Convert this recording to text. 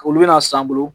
Olu bɛna san bolo